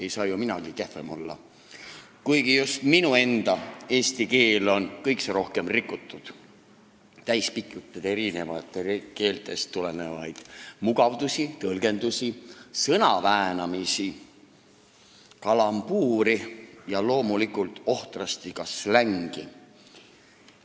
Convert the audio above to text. Ei saa ju minagi kehvem olla, kuigi minu enda eesti keel on kõikse rohkem rikutud, pikitud täis eri keeltest tulenevaid mugandusi, tõlgendusi, sõnaväänamisi, kalambuuri ja loomulikult ohtrasti ka slängi.